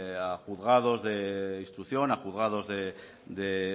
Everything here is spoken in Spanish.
a juzgados de instrucción a juzgados de